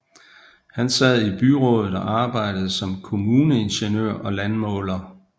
Han sad i byrådet og arbejdede som kommuneingeniør og landmåler